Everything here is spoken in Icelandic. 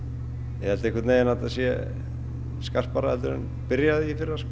ég held einhvern veginn að þetta sé skarpara heldur en byrjaði í fyrra sko